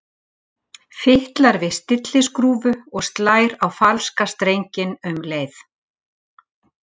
Fitlar við stilliskrúfu og slær á falska strenginn um leið.